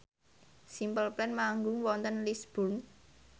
Simple Plan manggung wonten Lisburn